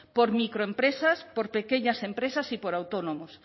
por microempresas por pequeñas empresas y por autónomos